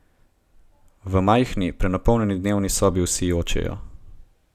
V majhni, prenapolnjeni dnevni sobi vsi jočejo.